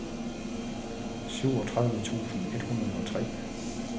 syvogtredive tusind et hundrede og tre